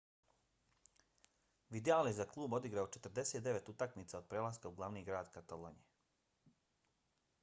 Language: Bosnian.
vidal je za klub odigrao 49 utakmica od prelaska u glavni grad katalonije